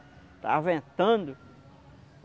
Estava ventando.